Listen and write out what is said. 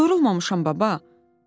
Yorulmamışam baba.